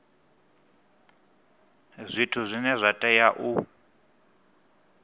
zwithu zwine zwa tea u